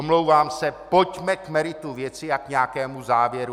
Omlouvám se, pojďme k meritu věci a k nějakému závěru.